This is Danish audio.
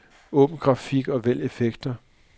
Åbn grafik og vælg effekter.